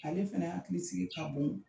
Ale fɛna hakili sigi ka bon